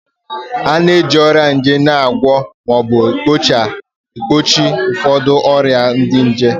A na-eji ọgwụ nje na-agwọ ma ọ bụ gbochie ụfọdụ ụdị ọrịa nje